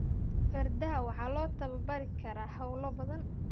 Fardaha waxaa loo tababari karaa hawlo badan.